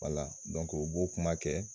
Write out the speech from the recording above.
Wala dɔnk'o bo kuma kɛ